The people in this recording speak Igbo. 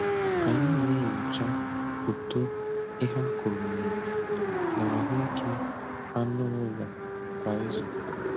Anyị na-enyocha uto ihe akụrụ n'ubi na ahụike anụ ụlọ kwa izu.